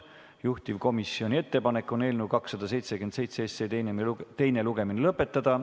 Juhtivkomisjoni ettepanek on eelnõu 277 teine lugemine lõpetada.